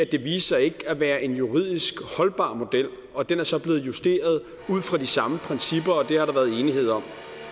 det viste sig ikke at være en juridisk holdbar model og den er så blevet justeret ud fra de samme principper og det har der været enighed om